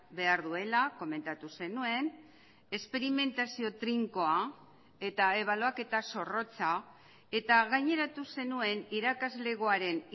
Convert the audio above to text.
behar duela komentatu zenuen esperimentazio trinkoa eta ebaluaketa zorrotza eta gaineratu zenuen irakaslegoaren